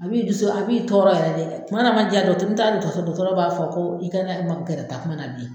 A b'i dusu, a b'i tɔɔrɔ yɛrɛ dɛ, tumana man diya dɔgɔ n taara dɔgɔtɔrɔso dɔgɔtɔrɔ b'a fɔ ko i kana magɛrɛ takuma na bilen